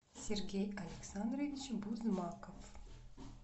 сергей александрович бузмаков